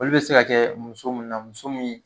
Olu be se ka kɛ muso mun muso munnu